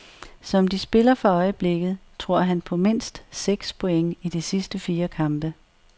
Som de spiller for øjeblikket, tror han på mindst seks point i de sidste fire kampe.